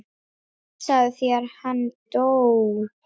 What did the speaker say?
Hugsaðu þér, hann dó.